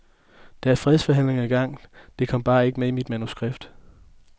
Der er fredsforhandlinger i gang, det kom bare ikke med i manuskriptet.